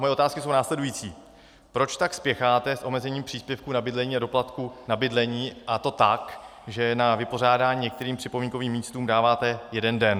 Moje otázky jsou následující: Proč tak spěcháte s omezením příspěvku na bydlení a doplatku na bydlení, a to tak, že na vypořádání některým připomínkovým místům dáváte jeden den?